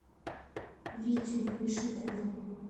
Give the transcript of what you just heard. витю вишнякова